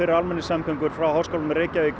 almenningssamgöngur frá Háskólanum í Reykjavík